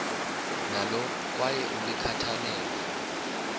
nalo kwaye ulikhathalele